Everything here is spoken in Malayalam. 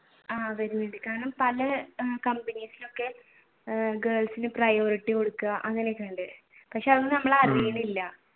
ആഹ് പല കമ്പനീസിലൊക്കെ girls ന് priority കൊടുക്കുക അങ്ങനൊക്കെയുണ്ട്